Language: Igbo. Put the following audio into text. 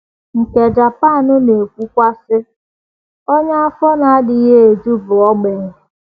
um Nke Japan na - ekwukwa, sị: um Onye afọ na - adịghị eju bụ ogbenye.